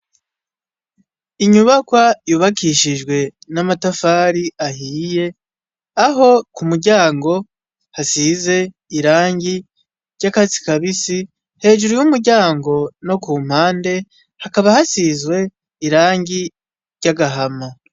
Inyubakwa yubakishijwe n'amatafari ahiye, aho ku muryango hasize irangi ry'akatsi kabisi, hejuru y'umuryango no kumpande hakaba hasizwe irangi ry'agahama.